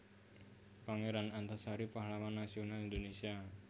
Pangeran Antasari Pahlawan Nasional Indonesia